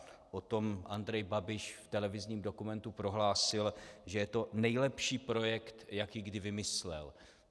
O tom Andrej Babiš v televizním dokumentu prohlásil, že je to nejlepší projekt, jaký kdy vymyslel.